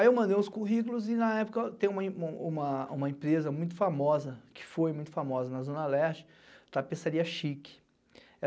Aí eu mandei os currículos e na época tem uma empresa muito famosa, que foi muito famosa na Zona Leste, Tapeçaria Chique.